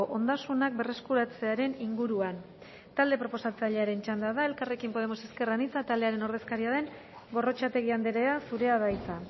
ondasunak berreskuratzearen inguruan talde proposatzailearen txanda da elkarrekin podemos ezker anitza taldearen ordezkaria den gorrotxategi andrea zurea da hitza